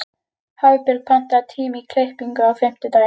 Hafbjörg, pantaðu tíma í klippingu á fimmtudaginn.